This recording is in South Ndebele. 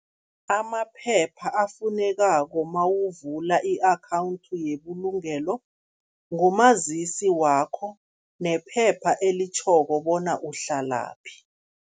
Amaphepha afunekako mawuvula i-akhawundi yebulungelo, ngumazisi wakho nephepha elitjhoko bona uhlalaphi.